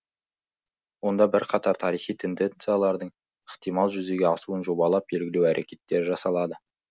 онда бірқатар тарихи тенденциялардың ықтимал жүзеге асуын жобалап белгілеу әрекеттері жасалады